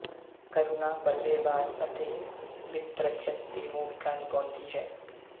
ਕਰੁਣਾ ਬੱਲੇਬਾਜ਼ ਅਤੇ ਵਿਕਟਰੱਖਿਅਕ ਦੀ ਭੂਮਿਕਾ ਨਿਭਾਉਂਦੀ ਹੈ